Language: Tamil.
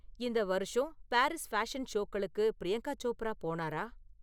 இந்த வருஷம் பாரிஸ் பேஷன் ஷோக்களுக்கு பிரியங்கா சோப்ரா போனாரா?